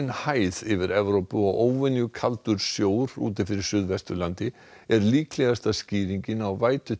hæð yfir Evrópu og óvenjukaldur sjór úti fyrir Suðvesturlandi er líklegasta skýringin á